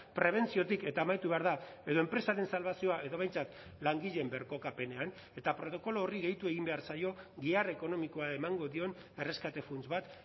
prebentziotik eta amaitu behar da edo enpresaren salbazioa edo behintzat langileen birkokapenean eta protokolo horri gehitu egin behar zaio gihar ekonomikoa emango dion erreskate funts bat